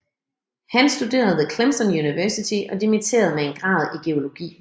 Han studerede ved Clemson University og dimitterede med en grad i geologi